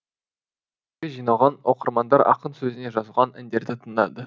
жиналған оқырмандар ақын сөзіне жазылған әндерді тыңдады